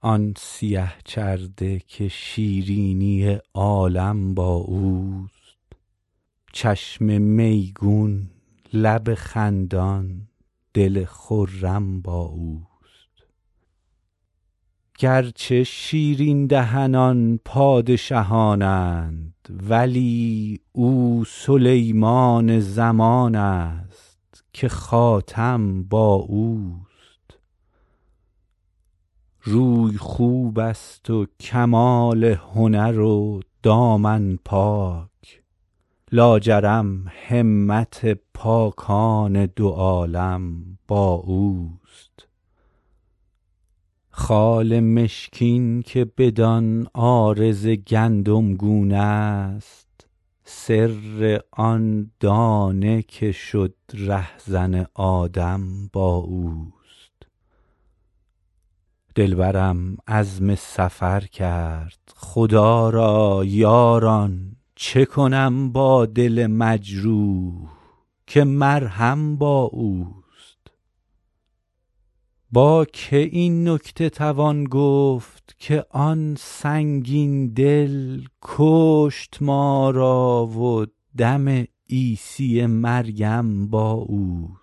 آن سیه چرده که شیرینی عالم با اوست چشم میگون لب خندان دل خرم با اوست گرچه شیرین دهنان پادشهان اند ولی او سلیمان زمان است که خاتم با اوست روی خوب است و کمال هنر و دامن پاک لاجرم همت پاکان دو عالم با اوست خال مشکین که بدان عارض گندمگون است سر آن دانه که شد رهزن آدم با اوست دلبرم عزم سفر کرد خدا را یاران چه کنم با دل مجروح که مرهم با اوست با که این نکته توان گفت که آن سنگین دل کشت ما را و دم عیسی مریم با اوست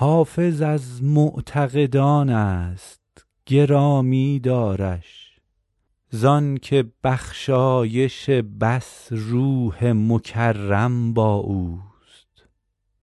حافظ از معتقدان است گرامی دارش زان که بخشایش بس روح مکرم با اوست